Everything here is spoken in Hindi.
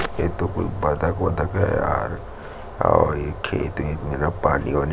ये तो कोई बतख-वत्तख है यार अऊ ये खेत वेत मेरा पानी-वानी--